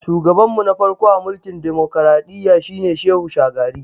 Shugaban mu na farko a mulkin dimokradiyya shi ne Shehu Shagari